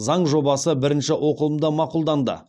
заң жобасы бірінші оқылымда мақұлданды